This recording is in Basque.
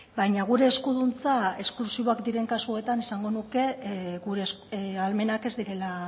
baina gure eskuduntza esklusiboak diren kasuetan esango nuke gure ahalmenak ez direla